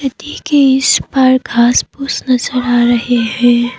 नदी के इस पार घास पुस नजर आ रहे हैं।